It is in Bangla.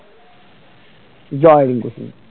জয় রিংকু সিং